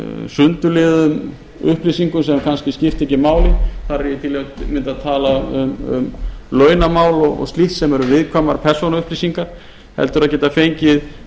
sundurliðuðum upplýsingum sem kannski skipta ekki máli þar er ég að tala um launamál og slíkt sem eru viðkvæmar persónuupplýsingar heldur að geta fengið